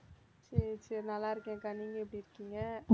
சரி சரி நல்லா இருக்கேன்க்கா நீங்க எப்படி இருக்கீங்க?